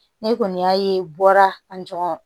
Ne kɔni y'a ye bɔra a jama